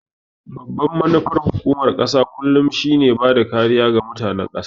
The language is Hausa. Babbar manufar hukumar ƙasa kullum shi ne bada kariya ga mutanen ƙasa